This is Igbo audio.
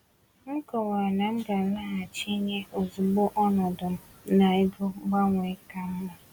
M kọwara na m ga-alaghachi inye ozugbo ọnọdụ m n’ego gbanwee ka mma.